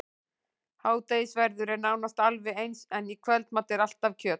Hádegisverður er nánast alveg eins, en í kvöldmat er alltaf kjöt.